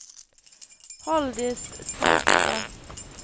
Halldis Salte